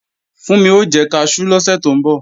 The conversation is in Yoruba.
Fúnmi o jẹ kaṣú lọ́sẹ̀ tó ń bọ̀